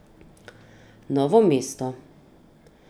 Novo mesto.